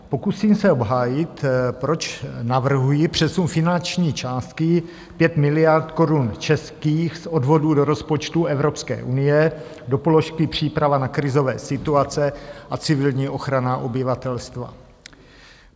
Pokusím se obhájit, proč navrhuji přesun finanční částky 5 miliard korun českých z Odvodů do rozpočtu Evropské unie do položky Příprava na krizové situace a civilní ochrana obyvatelstva.